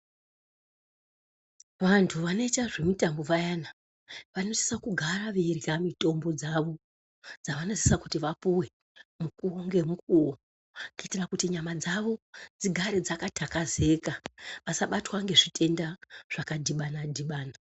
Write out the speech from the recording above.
Vantu vanoita zvemutambo vayana, vanosisa kugara veirya mitombo dzavo dzavanosisa kuti vapuwe mukuwo ngemukuwo, kuitira kuti nyama dzavo dzigare dzakaxakazeka vasabatwa ngezvitenda zvakadhibana dhibana.